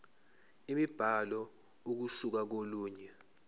imibhalo ukusuka kolunye